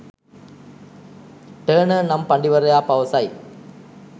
Turner නම් පඬිවරයා පවසයි.